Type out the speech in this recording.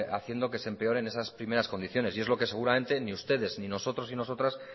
va haciendo que se empeoren esas primeras condiciones y es lo que seguramente ni ustedes ni nosotros y nosotras